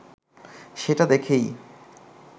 সেটা দেখেই